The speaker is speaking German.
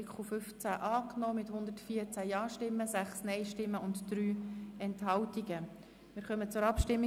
Sie haben dem mit 114 Ja- gegen 6 NeinStimmen bei 3 Enthaltungen zugestimmt.